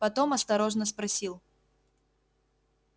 потом осторожно спросил